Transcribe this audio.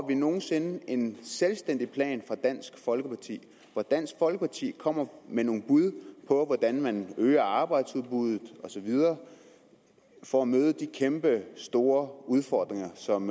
vi nogen sinde en selvstændig plan fra dansk folkeparti hvor dansk folkeparti kommer med nogle bud på hvordan man øger arbejdsudbuddet og så videre for at møde de kæmpestore udfordringer som